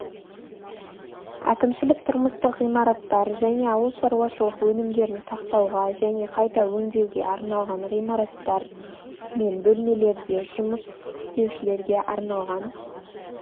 әкімшілік тұрмыстық ғимараттар және ауыл шаруашылық өнімдерін сақтауға және қайта өндеуге арналған ғимараттар мен бөлмелерде жұмыс істеушілерге арналған